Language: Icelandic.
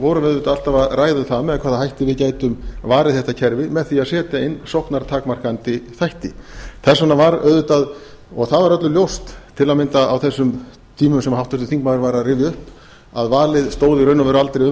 við auðvitað alltaf að ræða um það með hvaða hætti við gætum varið þetta kerfi með því að setja inn sóknartakmarkandi þætti þess vegna var auðvitað og það var öllum ljóst til að mynda á þessum tímum sem háttvirtur þingmaður var að rifja upp að valið stóð í raun og veru aldrei um